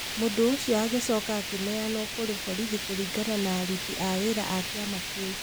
Mũndũ ũcio agĩcoka akĩneanwo kũrĩ borithi kũringana na aruti a wĩra a kĩama kĩu.